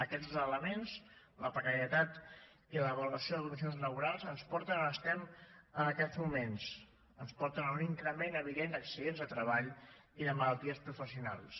aquests dos elements la precarietat i la valoració de condicions laborals ens porten a on estem en aquests moments ens porten a un increment evident d’accidents de treball i de malalties professionals